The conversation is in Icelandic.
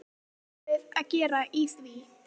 Hvað ætlum við að gera í því?